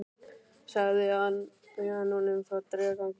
Svo sagði hann honum frá draugaganginum.